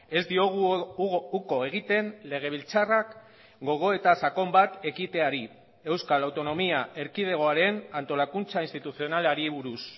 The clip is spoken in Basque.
ez diogu uko egiten legebiltzarrak gogoeta sakon bat ekiteari euskal autonomia erkidegoaren antolakuntza instituzionalari buruz